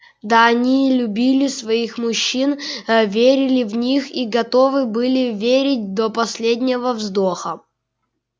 да они любили своих мужчин верили в них и готовы были верить до последнего вздоха